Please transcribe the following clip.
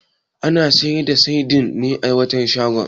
Ana sayar da saidin ne a wancan shagon?